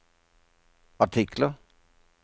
artikler